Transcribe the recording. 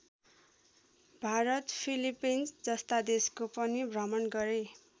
Bharat Philippines जस्ता देशको पनि भ्रमण गरे।